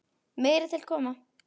Meira til koma.